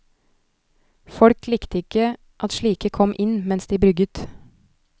Folk likte ikke at slike kom inn mens de brygget.